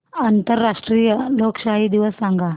आंतरराष्ट्रीय लोकशाही दिवस सांगा